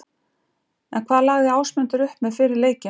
En hvað lagði Ásmundur upp með fyrir leikinn?